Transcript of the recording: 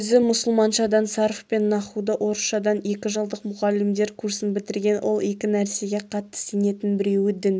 өзі мұсылманшадан сарф пен нахуды орысшадан екі жылдық мұғалімдер курсын бітірген ол екі нәрсеге қатты сенетін біреуі дін